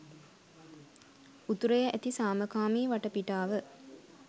උතුරේ ඇති සාමකාමී වටපිටාව